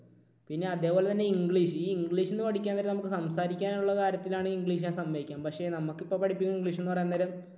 പിന്നെ അതേപോലെതന്നെ English. ഈ English ൽ നിന്ന് പഠിക്കാൻ നേരെ നമുക്ക് സംസാരിക്കാനുള്ള കാര്യത്തിലാണ് English ഞാൻ സമ്മതിക്കാം. പക്ഷേ നമുക്കിപ്പോൾ ഇപ്പോൾ പഠിപ്പിക്കുന്ന English എന്ന് പറയാൻ നേരം